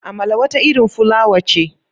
Amala wata irin fulawa ce.